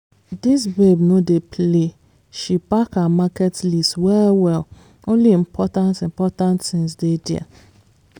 dis babe no dey play she pack her market list well-well only important important tins dey there.